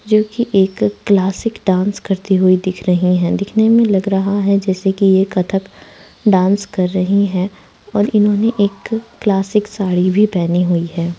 जो की एक क्लासिक डांस करते हुए दिख रही है दिखने में लग रहा है जैसे की ये कथक डांस कर रही है और इन्होंने एक क्लासिक साड़ी भी पहनी हुई है।